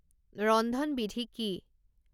ৰন্ধনবিধি কি